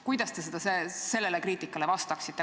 Kuidas te sellele kriitikale vastaksite?